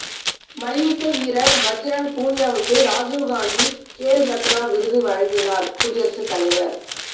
மல்யுத்த வீரர் பஜ்ரங் பூனியாவுக்கு ராஜீவ் காந்தி கேல் ரத்னா விருது வழங்கினார் குடியரசுத் தலைவர்